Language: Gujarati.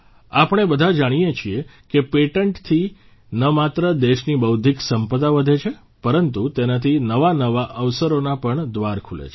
આપણે બધા જાણીએ છીએ કે પેટન્ટથી ન માત્ર દેશની બૌદ્ધિક સંપદા વધે છે પરંતુ તેનાથી નવાનવા અવસરોના પણ દ્વાર ખૂલે છે